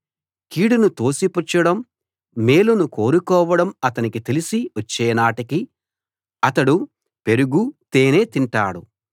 కీడును తోసిపుచ్చడం మేలును కోరుకోవడం అతనికి తెలిసి వచ్చేనాటికి అతడు పెరుగు తేనె తింటాడు